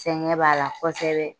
Sɛgɛn b'a la kosɛbɛ